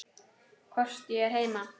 Hvort ég er heima?